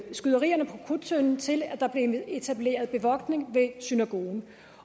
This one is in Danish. skyderierne ved krudttønden til der blev etableret bevogtning ved synagogen